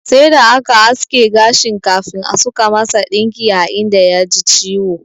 Sai da aka aske gashin kafin suka masa ɗinki a inda ya ji ciwo.